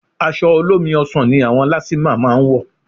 Aṣọ olómi ọsàn ni àwọn lastma máa ń wọ̀